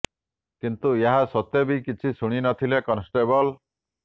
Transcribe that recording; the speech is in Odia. କିନ୍ତୁ ଏହା ସତ୍ତ୍ୱେ ବି କିଛି ଶୁଣି ନଥିଲେ କନଷ୍ଟେବଲ